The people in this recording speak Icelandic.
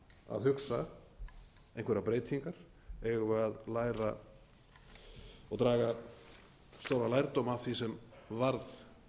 að hugsa einhverjar breytingar eigum við að læra og draga stóran lærdóm af því sem varð